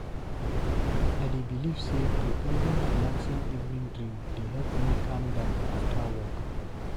I dey believe say preparing relaxing evening drink dey help me calm down after work.